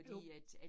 Jo